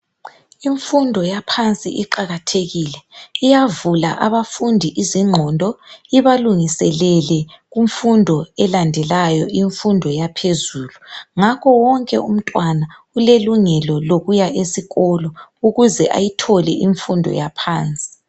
Imfundo yaphansi iqakathekile. Iyavula abantwana izingqondo ibalungiselele kumfundo elandelayo. lmfundo yaphezulu. Ngakho wonke umntwana ulelungelo lokuya esikolo, ukuze ayithole imfundo yaphansi.